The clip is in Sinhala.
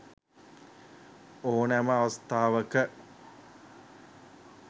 ඕනෑම අවස්ථාවක